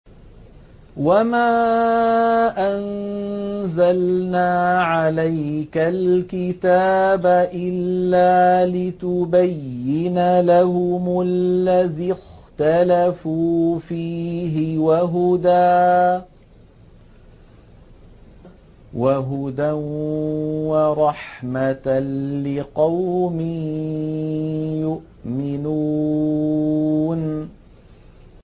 وَمَا أَنزَلْنَا عَلَيْكَ الْكِتَابَ إِلَّا لِتُبَيِّنَ لَهُمُ الَّذِي اخْتَلَفُوا فِيهِ ۙ وَهُدًى وَرَحْمَةً لِّقَوْمٍ يُؤْمِنُونَ